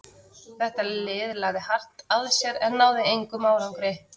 Þetta lið lagði hart að sér en náði engum árangri.